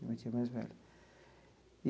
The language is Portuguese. Minha tia mais velha.